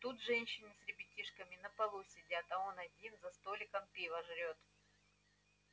тут женщины с ребятишками на полу сидят а он один за столиком пиво жрёт